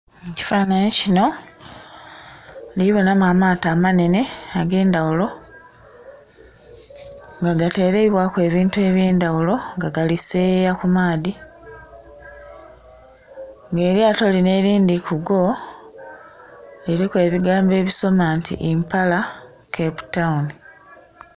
Ekifanhanhi kino, ndhibonamu amaato amanene agh'endhaghulo, nga gatereibwaku ebintu eby'endaghulo nga gali seyeeya ku maadhi. Nga elyato lino elindhi kugo liliku ebigambo ebisoma nti Impala Cape Town.